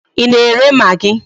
Ị na-ere magị?